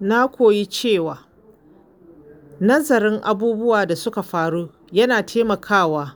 Na koyi cewa nazarin abubuwan da suka faru yana taimakawa